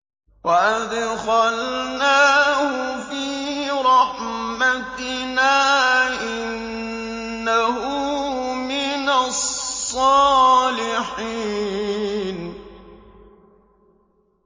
وَأَدْخَلْنَاهُ فِي رَحْمَتِنَا ۖ إِنَّهُ مِنَ الصَّالِحِينَ